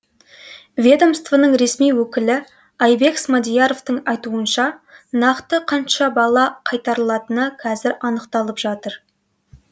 ведомствоның ресми өкілі айбек смадияровтың айтуынша нақты қанша бала қайтарылатыны қазір анықталып жатыр